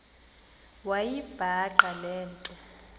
wayibhaqa le nto